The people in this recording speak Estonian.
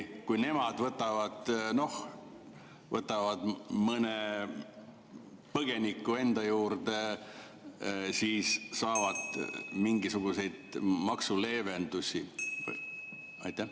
Kui nemad võtavad mõne põgeniku enda juurde, kas nad siis saavad mingisuguseid maksuleevendusi?